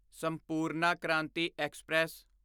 Sampoorna Kranti express